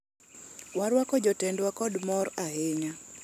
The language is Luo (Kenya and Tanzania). warwako jatendwa kod mor ahinya